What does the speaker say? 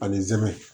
Ani zɛmɛ